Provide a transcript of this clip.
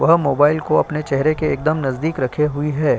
वह मोबाइल को अपने चेहरे के एकदम नजदीक रखे हुई है।